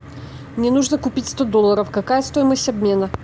мне нужно купить сто долларов какая стоимость обмена